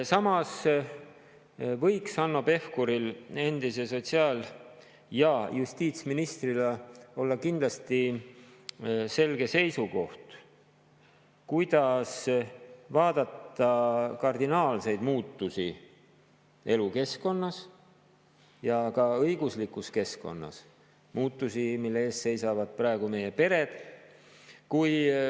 Samas võiks Hanno Pevkuril endise sotsiaal- ja justiitsministrina olla selge seisukoht, kuidas vaadata kardinaalseid muutusi elukeskkonnas ja ka õiguslikus keskkonnas – muutusi, mille ees seisavad praegu meie pered.